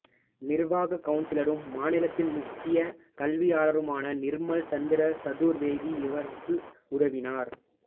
நிர்வாக கவுன்சிலரும் மாநிலத்தின் முக்கிய கல்வியாளருமான நிர்மல் சந்திர சதுர்வேதி இவருக்கு உதவினார்